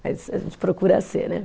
Mas a gente procura ser, né?